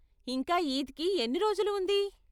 ఇంకా ఈద్కి ఎన్ని రోజులు ఉంది?